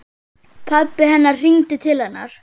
Pabbi hennar hringdi til hennar.